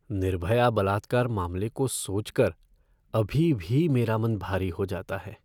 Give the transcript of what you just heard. निर्भया बलात्कार मामले को सोच कर अभी भी मेरा मन भारी हो जाता है।